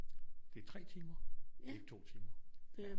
Det er 3 timer det er ikke 2 timer